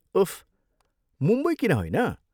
उफ्, मुम्बई किन होइन?